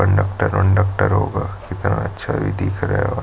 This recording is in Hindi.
कंडक्टर -वनडक्टर होगा कितना अच्छा इ दिख रहा और --